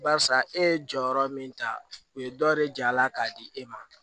Barisa e ye jɔyɔrɔ min ta o ye dɔ de ja a la k'a di e ma